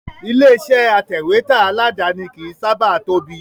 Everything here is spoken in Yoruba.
Ilé iṣẹ́ atẹ̀wẹ́tà aládàáni kìí sábà tóbi